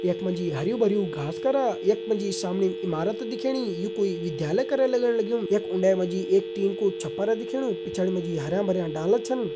यख मा जी हरयूं भरयुं घास करा यख मा जी सामणि इमारत दिखेणी यू कोई विद्यालय करं लगण लग्युं यख उंडे मा जी एक टीन कू छपर दिखेणु पिछाड़ी मा जी हरा भरा डाला छिन।